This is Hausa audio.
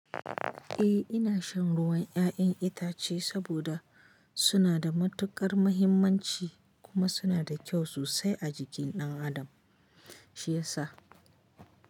Eh ina shan ruwan ƴaƴan itace saboda suna da matuƙar mahimmanci, kuma suna da kyau sosai a jikin ɗan Adam, shi yasa.